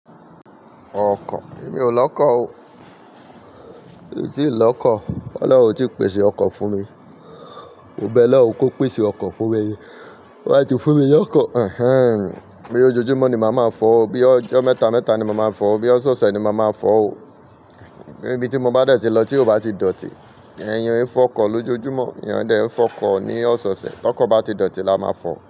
Ọkọ̀, èmi ò lọ́kọ̀ o, mi o tì lọ́kọ̀. Olorun ò ti pèsè okò fún mi. Mo bẹ Ọlọ́run kó pèsè ọkọ̀ fún mi ni. Ti wọn ba ti fún mi loko boya ojojúmọ́ ni màá máa fọ̀ ọ́, bí ọjọ́ mẹ́ta mẹ́ta ni màá máa fọ̀ ọ́, bí ọ̀sẹ̀ ọ̀sẹ̀ ni màá máa fọ̀ ọ́. Pe ibi tí mo bá dẹ̀ tí lọ tí ò bá ti dọ̀tí. Èèyàn e fo ọkọ lojoojumo, èèyàn o de fo ọkọ ni ọsẹ ọsẹ. Ti ọkọ̀ bá ti dọ̀tí, la máa fọ̀